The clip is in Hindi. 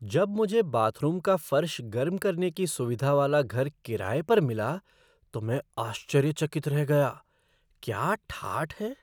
जब मुझे बाथरूम का फ़र्श गर्म करने की सुविधा वाला घर किराए पर मिला तो मैं आश्चर्यचकित रह गया। क्या ठाठ हैं!